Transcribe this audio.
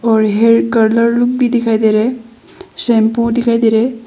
और hair colour भी दिखाई दे रहा है शैंपू दिखाई दे रहा है।